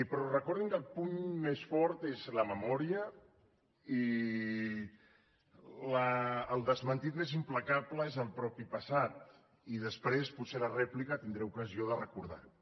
però recordin que el puny més fort és la memòria i el desmentiment més implacable és el mateix passat i després potser a la rèplica tindré ocasió de recordar ho